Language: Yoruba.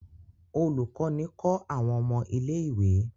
Ólukọni kọ àwọn ọmọ ìlé-ìwé.